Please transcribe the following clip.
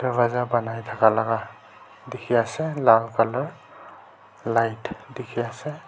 banai taka laka teki ase lal colour light teki ase.